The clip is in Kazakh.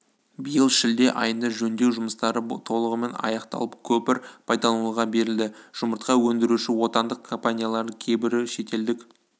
биыл шілде айында жөндеу жұмыстары толығымен аяқталып көпір пайдалануға берілді жұмыртқа өндіруші отандық компаниялардың кейбірі шетелдік